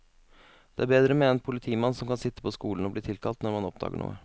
Det er bedre med en politimann som kan sitte på skolen og bli tilkalt når man oppdager noe.